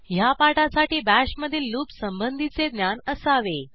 ह्या पाठासाठी Bashमधील लूप संबंधीचे ज्ञान असावे